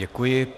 Děkuji.